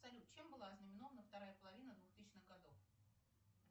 салют чем была ознаменована вторая половина двухтысячных годов